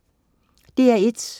DR1: